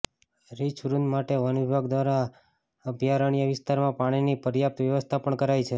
રીંછવૃંદ માટે વન વિભાગ દ્વારા અભયારણ્ય વિસ્તારમાં પાણીની પર્યાપ્ત વ્યવસ્થા પણ કરાઈ છે